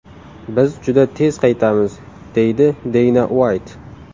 Biz juda tez qaytamiz”, deydi Deyna Uayt.